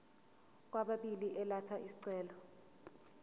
kwababili elatha isicelo